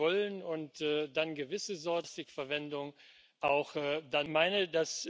dafür engagieren, dass Plastikmüll nicht unsere Zukunft beherrscht.